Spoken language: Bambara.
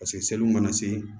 Paseke seliw mana se